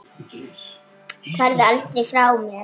Farðu aldrei frá mér.